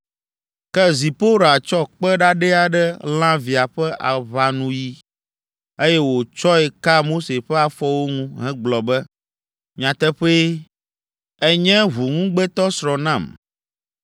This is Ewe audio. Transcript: Ke Zipora tsɔ kpe ɖaɖɛ aɖe lã via ƒe aʋanuyi, eye wòtsɔe ka Mose ƒe afɔwo ŋu hegblɔ be, “Nyateƒee, ènye ʋuŋugbetɔsrɔ̃ nam.”